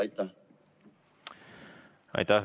Aitäh!